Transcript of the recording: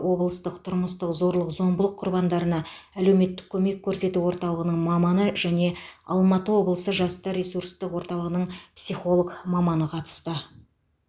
облыстық тұрмыстық зорлық зомбылық құрбандарына әлеуметтік көмек көрсету орталығының маманы және алматы облысы жастар ресурстық орталығының психолог маманы қатысты